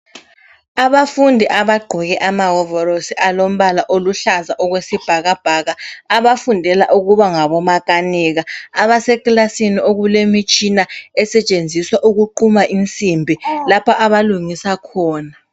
Abafundi abagqoke amawovolosi alombala oluhlaza okwesibhakabhaka, abafundela ukuba ngabo makanika, abasekilasini okulemitshina esetshenziswa ukuquma insimbi lapha abalungisa khona.